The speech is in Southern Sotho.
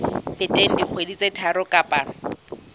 feteng dikgwedi tse tharo kapa